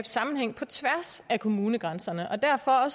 sammenhæng på tværs af kommunegrænserne og derfor